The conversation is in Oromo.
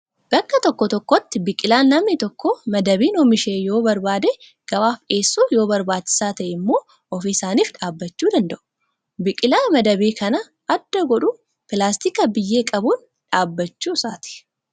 Bakka tokko tokkotti biqilaan namni tokko madabiin oomishee yoo barbaade gabaaf dhiyeessuu yoo barbaachisaa ta'e immoo ofii isaaniif dhaabbachuu danda'u. Biqilaa madabii kan adda godhu pilaastika biyyee qabuun dhaabbachuu isaati.